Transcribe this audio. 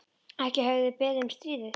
Ekki höfðu þeir beðið um stríðið.